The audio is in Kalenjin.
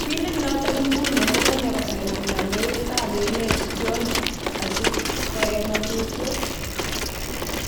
Billit noton eng iguni kokonye kosainen kondoidet ab emet john osi koik ngotutyet.